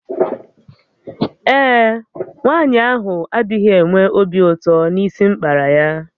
Ee e, nwanyị ahụ adịghị enwe obi ụtọ na isi m kpara ya